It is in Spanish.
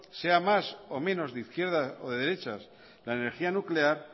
sea más o menos de izquierdas o de derechas la energía nuclear